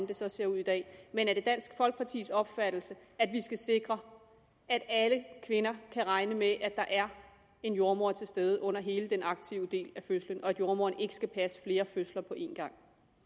det så ser ud i dag men er det dansk folkepartis opfattelse at vi skal sikre at alle kvinder kan regne med at der er en jordemoder til stede under hele den aktive del af fødslen og at jordemoderen ikke skal passe flere fødsler på en gang